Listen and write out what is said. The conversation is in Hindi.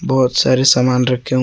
बहोत सारे सामान रखे हु--